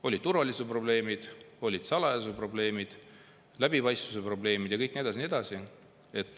Olid turvalisuse probleemid, olid salajasuse probleemid, läbipaistvuse probleemid ja nii edasi, ja nii edasi.